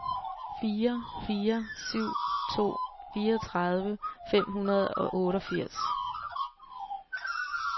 fire fire syv to fireogtredive fem hundrede og otteogfirs